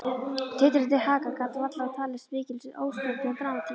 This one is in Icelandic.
Titrandi haka gat varla talist mikil óstjórn eða dramatík.